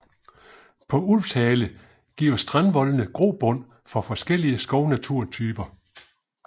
På Ulvshale giver strandvoldene grobund for forskellige skovnaturtyper